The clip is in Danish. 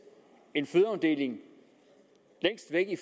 en fødeafdeling længst væk i